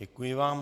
Děkuji vám.